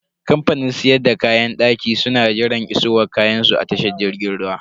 Kamfanin siyar da kayan daki su na jiran isowar kayansu a tashan jirgin ruwa.